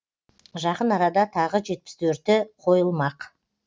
жақын арада тағы жетпіс төрті қойылмақ